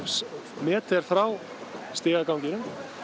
metra frá stigaganginum